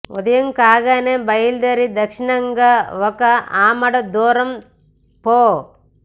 ఉదయం కాగానే బయల్దేరి దక్షిణంగా ఒక ఆమడ దూరం పో